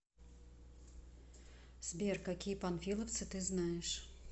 сбер какие панфиловцы ты знаешь